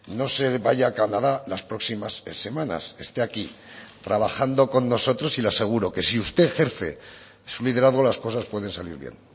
no se vaya a canadá las próximas semanas esté aquí trabajando con nosotros y le aseguro que si usted ejerce su liderazgo las cosas pueden salir bien